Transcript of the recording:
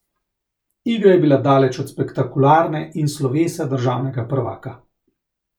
Igra je bila daleč od spektakularne in slovesa državnega prvaka.